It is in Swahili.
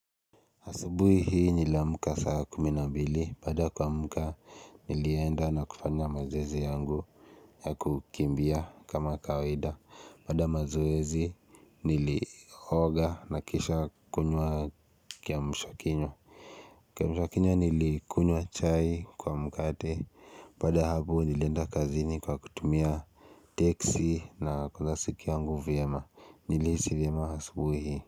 Asubuhi hii niliamuka saa kumi na bili baada ya kuamuka nilienda na kufanya mazoezi yangu ya kukimbia kama kawaida baada ya mazoezi niliooga na kisha kunywa kiamshakinywa kiamshakinywa nilikunywa chai kwa mkate baada ya hapo nilienda kazini kwa kutumia teksi na kuzasikia yangu vyema niliisi vyema asubui hii.